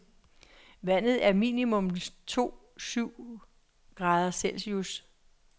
Vandet er minimum to syv grader celcius.